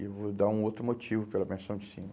e vou dar um outro motivo pela pensão de cima.